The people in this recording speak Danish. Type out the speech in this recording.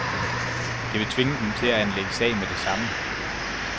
Det vil tvinge dem til at anlægge sag med det samme.